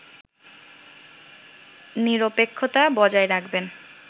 নিরপেক্ষতা বজায় রাখবেন